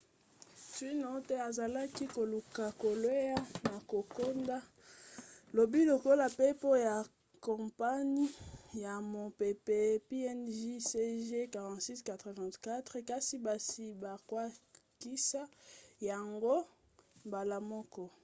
twin otter azalaki koluka kokwea na kokoda lobi lokola mpepo ya kompani ya bampepo png cg4684 kasi basi babwakisaki yango mbala moko